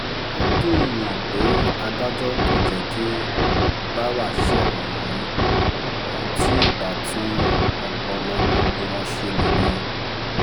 ó dùn-ún-yàn pé adájọ́ kò jẹ́ kí báwa ṣẹ̀wọ̀n yìí ohun tí ibà tún ọpọlọ gbogbo wọn ṣe nìyẹn